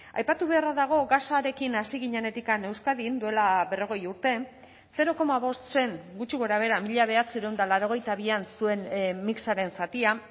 aipatu beharra dago gasarekin hasi ginenetik euskadin duela berrogei urte zero koma bost zen gutxi gorabehera mila bederatziehun eta laurogeita bian zuen mixaren zatia